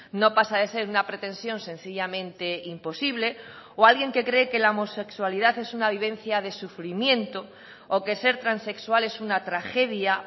no pasa de ser una pretensión sencillamente imposible o alguien que cree que la homosexualidad es una vivencia de sufrimiento o que ser transexual es una tragedia